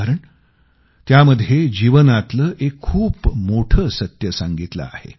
कारण त्यामध्ये जीवनातलं एक खूप मोठं सत्य सांगितलं आहे